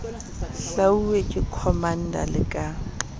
hlwauwe ke commander le ka